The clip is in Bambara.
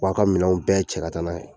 U b'a ka minɛnw bɛɛ cɛ ka taa n'a ye.